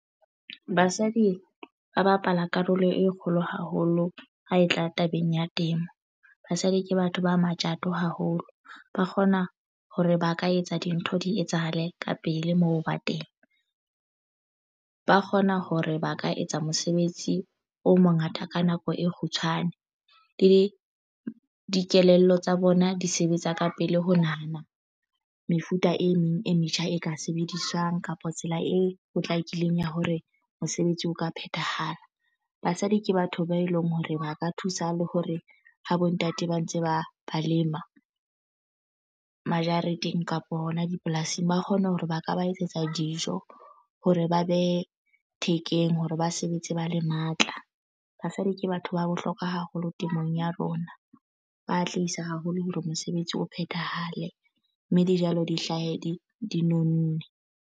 Basadi ba bapala karolo e kgolo haholo ha e tla tabeng ya temo. Basadi ke batho ba matjato haholo ba kgona hore ba ka etsa dintho di etsahale ka pele moo ba teng ba kgona hore ba ka etsa mosebetsi o mongata ka nako e kgutshwane le dikelello tsa bona di sebetsa ka pele ho nahana mefuta e meng e metjha e ka sebediswang kapa tsela e potlakileng ya hore mosebetsi o ka phethahala. Basadi ke batho ba eleng hore ba ka thusa le hore ha bo ntate ba ntse ba ba lema majareteng kapo hona dipolasing ba kgone hore ba ka ba etsetsa dijo hore ba behe thekeng hore ba sebetse ba le matla. Basadi ke batho ba bohlokwa haholo temong ya rona. Ba tlisa haholo hore mosebetsi o phethahale mme dijalo di hlahe di nonne.